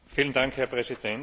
Herr Präsident!